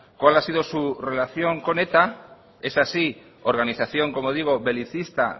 cuál ha sido su relación con eta esa sí organización como digo belicista